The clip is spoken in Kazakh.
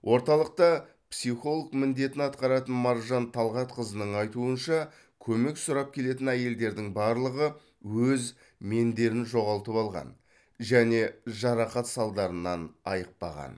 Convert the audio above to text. орталықта психолог міндетін атқаратын маржан талғатқызының айтуынша көмек сұрап келетін әйелдердің барлығы өз мендерін жоғалтып алған және жарақат салдарынан айықпаған